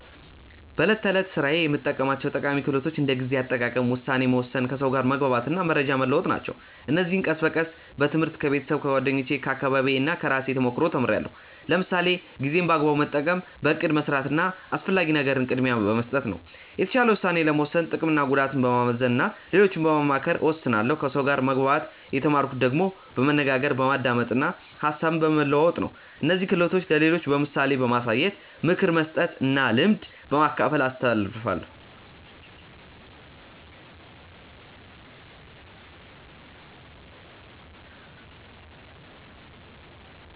በዕለት ተዕለት ሥራዬ የምጠቀማቸው ጠቃሚ ክህሎቶች እንደ ጊዜ አጠቃቀም፣ ውሳኔ መወሰን፣ ከሰው ጋር መግባባት እና መረጃ መለዋወጥ ናቸው። እነዚህን ቀስ በቀስ በትምህርት፣ ከቤተሰብ፣ ከጓደኞቼ፣ ከአካባቢዬ እና ከራሴ ተሞክሮ ተምርያለሁ። ለምሳሌ ጊዜን በአግባቡ መጠቀም በእቅድ መስራት እና አስፈላጊ ነገርን ቅድሚያ በመስጠት ነው። የተሻለ ውሳኔ ለመወሰን ጥቅምና ጉዳትን በማመዛዘን እና ሌሎችን በማማከር እወስናለሁ ከሰው ጋር መግባባት የተማርኩት ደግሞ በመነጋገር፣ በማዳመጥ እና ሀሳብ በመለዋወጥ ነው። እነዚህን ክህሎቶች ለሌሎች በምሳሌ በማሳየት፣ ምክር በመስጠት እና ልምድ በማካፈል አስተላልፋለሁ።